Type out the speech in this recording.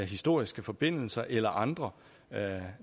historiske forbindelser eller andre